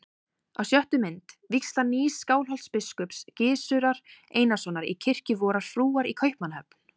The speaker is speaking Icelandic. Á sjöttu mynd: vígsla nýs Skálholtsbiskups, Gizurar Einarssonar, í kirkju vorrar frúar í Kaupmannahöfn.